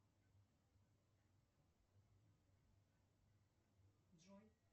джой